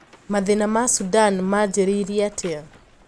Mathina ma Sudan manjirie atia?